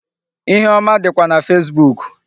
Ihe ọma dịkwa na Facebook.